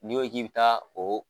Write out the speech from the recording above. N'i ko k'i bi taa oo